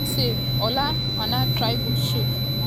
another save!!!ola aina try good shot but di rwandan goalkeeper stop am ooooooo.